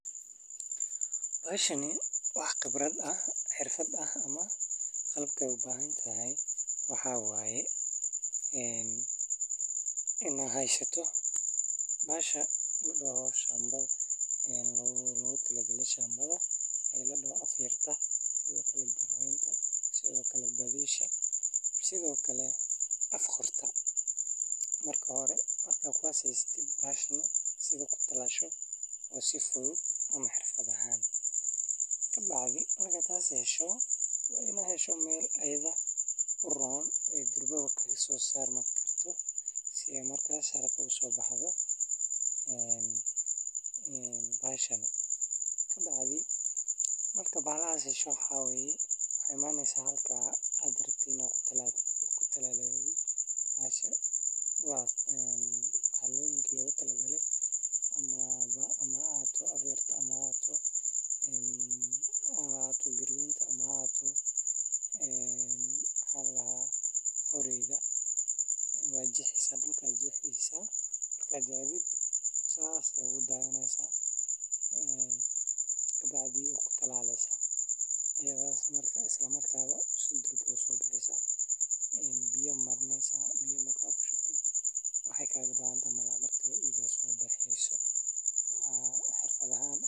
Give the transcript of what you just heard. Meshan wax khibrad ah ,xirfad ah ayey u bahantahay waxa waye inaa heysato bahasha ladoho shambada waxaa lagu ridaa meelo si fiican loo cabbiray, waxaana loo sameeyaa kala-fogaan u suurtagelinaya in geeduhu si fiican u koraan. Waraabinta ayaa iyana muhiim ah, iyadoo dhirtu u baahan tahay biyo joogto ah, gaar ahaan maalmaha hore ee la abuuray. Daryeel joogto ah, sida nadiifinta haramaha iyo ka hortagga cayayaanka, ayaa lagama maarmaan u ah guusha beerta. Marka la beero si wanaagsan, waxaa laga helaa dalag miro badan, tayo leh, una faa’iideeya beeralaha iyo bulshada guud ahaan.